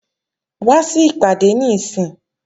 Wá sí ìpàdé níìsín!